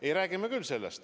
Ei, räägime küll.